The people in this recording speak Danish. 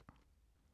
DR1